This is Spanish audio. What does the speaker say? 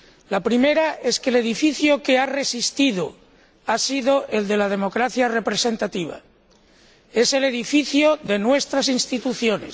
La primera es que el edificio que ha resistido ha sido el de la democracia representativa es el edificio de nuestras instituciones